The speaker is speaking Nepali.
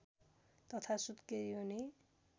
तथा सुत्केरी हुने